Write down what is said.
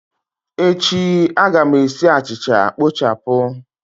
Echi, a ga m esi achịcha kpochapụ